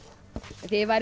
ef þið væruð